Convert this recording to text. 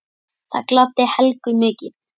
Það gladdi Helgu mikið.